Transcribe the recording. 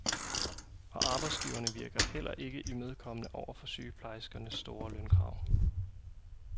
Og arbejdsgiverne virker heller ikke imødekommende over for sygeplejerskernes store lønkrav.